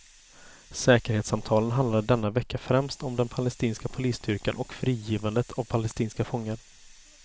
Säkerhetssamtalen handlade denna vecka främst om den palestinska polisstyrkan och frigivandet av palestinska fångar.